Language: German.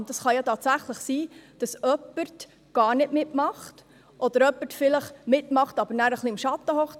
Und es kann ja tatsächlich sein, dass jemand gar nicht mitmacht oder jemand vielleicht mitmacht, aber dann am Schatten sitzt.